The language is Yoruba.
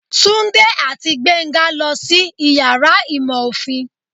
Tunde ati Gbenga losí iyàrá ìmọ ofín